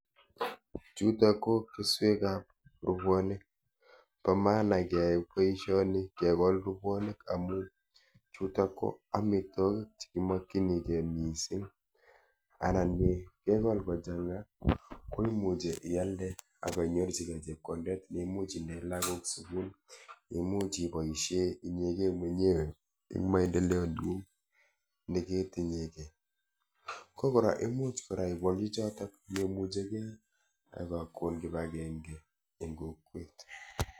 Chutok ko keswekap rupwonik. Po maana keyai boishoni kekol rupwonik amu chutok ko amitwokik chekimokchinikei mising anan kekol kochang'a, ko imuchi ialde akainyorchikei chepkondet neimuch indee lagok sukul imuch ipoishee inyekei mwenyewe eng maendeleo neng'ung neketinyekei. Ko kora imuch kora ipolu chotok memuchekei ak kakon kipakenke eng kokwet.